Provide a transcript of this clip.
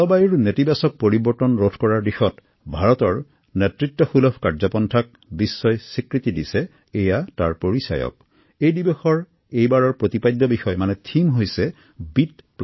জলবায়ু পৰিৱৰ্তন ৰোধৰ ক্ষেত্ৰত ভাৰতৰ শক্তিশালী ভূমিকাৰ প্ৰতি এয়া বিশ্ববাসীৰ এক স্বীকৃতি আৰু এই দিৱস কেন্দ্ৰীয়ভাৱে ভাৰতত আয়োজনৰ দায়িত্ব লাভ কৰি আমি গৌৰৱান্বিত